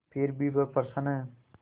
फिर भी वह प्रसन्न है